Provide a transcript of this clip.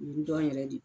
U bi dɔn yɛrɛ de